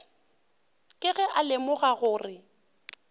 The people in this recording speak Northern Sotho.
ke ge a lemoga gore